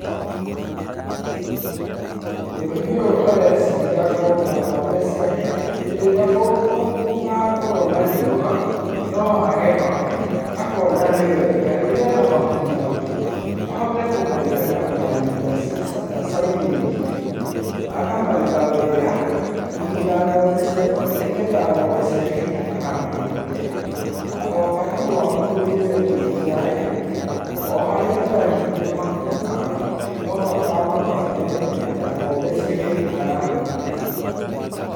Mũrĩmi ũyũ areciria akona ng'ombe ciake, hĩndĩ ĩrĩa gũgakorwo na riũa noage mahuti, akona nĩ wega rĩrĩa ena mahuti maingĩ ahote kũmaiga na kũmarinda ta silage, akamaiga wega, kũigĩra ng'ombe ciake, nĩ getha ng'ombe ciake itikanahũte. Agoka tu ahumbũrie silage yake o haria tu arindire mahuti make, no ho akamakora me mega na ng'ombe ciake itikahũta.